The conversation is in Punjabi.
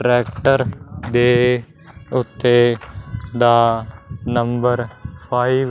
ਟ੍ਰੈਕਟਰ ਦੇ ਓੱਤੇ ਦਾ ਨੰਬਰ ਫਾਇਵ--